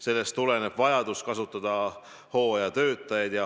Sellest tuleneb vajadus kasutada hooajatöötajaid.